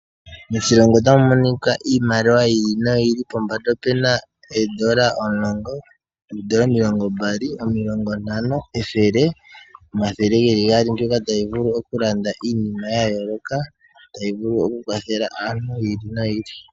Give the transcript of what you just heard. Moshilongo ota mu monika iimaliwa yi ili no yi ili. Pombanda ope na eendola 10, eendola omilongo mbali, omilongo ntano, ethele, omathele geli gaali mbyoka ta yi vulu oku landa iinima ya yooloka, nenge ta yi vulu oku kwathele aantu yi ili noyi ili.